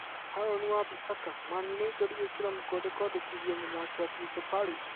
Harûni Wa Bĩsaca: Man Utd gwĩkĩra mũkonde kwandĩkithia mũthaki wa Crystal Palace.